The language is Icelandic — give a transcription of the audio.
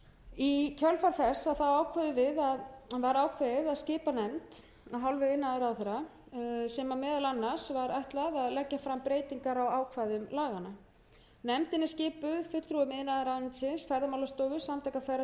í kjölfar þess var ákveðið að skipa nefnd af hálfu iðnaðarráðherra sem meðal annars var ætlað að leggja fram breytingar á ákvæðum laganna nefndin er skipuð fulltrúum iðnaðarráðuneytisins ferðamálastofu samtaka ferðaþjónustunnar og